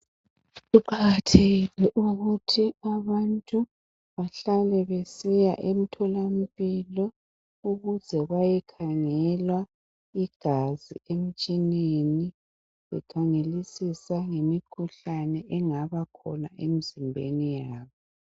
Kuqakathekile ukuthi abantu bahlale besiya emtholampilo ukuze bayekhangelwa igazi emtshineni bekhangelisisa lemikhuhlane engaba khona emzimbeni yabo